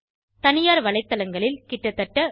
தனியார் வலைத்தளங்களில் கிட்டத்தட்ட ரூபாய்